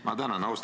Ma tänan!